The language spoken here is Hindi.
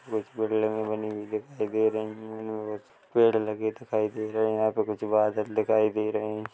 घुस पैड लगी बनी हुए दिखाई दे रहे है यहाँ पे कुछ पेड़ लगे हुए दिखाई दे रहे हैं यहाँ पे कुछ बादल दिखाई दे रहे हैं।